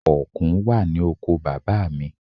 Ọ̀kùn wà ní oko bàbá à mi.